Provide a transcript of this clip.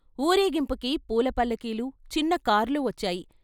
ఊరేగింపుకి పూలపల్ల కీలు, చిన్నకార్లు వచ్చాయి.